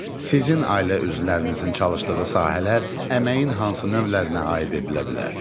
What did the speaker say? Sizin ailə üzvlərinizin çalışdığı sahələr əməyin hansı növlərinə aid edilə bilər?